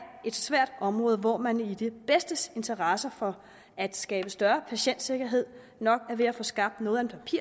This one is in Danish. et svært område hvor man i det bedstes interesse for at skabe større patientsikkerhed nok er ved at få skabt noget